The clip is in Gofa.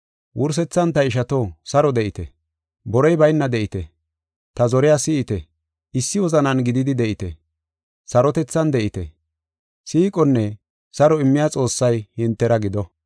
Wursethan ta ishato, saro de7ite. Borey bayna de7ite; ta zoriya si7ite. Issi wozanan gididi de7ite; sarotethan de7ite. Siiqonne saro immiya Xoossay hintera gido.